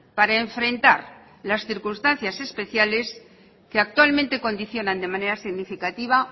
para enfrentar las circunstancias especiales que actualmente condicionan de manera significativa